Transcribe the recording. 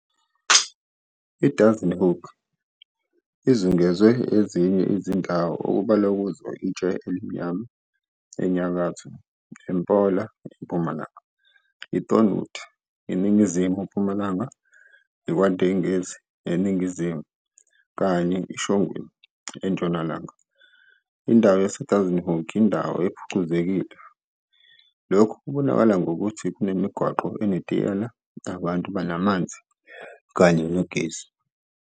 IDassenhoek izungezwe ezinye izindawo okubalwa kuzo, iTshelimnyama, enyakatho, eMpola, empumalanga, Thornwood, ningizimu-mpumalanga, KwaNdengezi, eningizimu, kanye iShongweni, entshonalanga. Indawo yaseDassenhoek iyindawo ephucuzekile, lokhu kubonakala ngokuthi kunemigwaqo enetiyela, abantu banamanzi kanye nogesi.